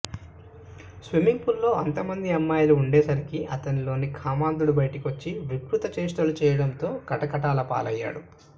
swimming పూల్లో అంతమంది అమ్మాయిలు ఉండేసరికి అతనిలోని కామాంధుడు బయటకొచ్చి వికృత చేష్టలు చేయడంతో కటకటాల పాలయ్యాడు